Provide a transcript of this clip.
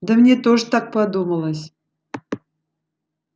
да мне тоже так подумалось